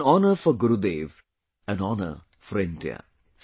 This is an honour for Gurudev; an honour for India